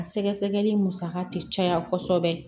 A sɛgɛsɛgɛli musaka tɛ caya kosɛbɛ